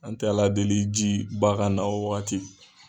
An tɛ Ala deli jiba ka na o wagati.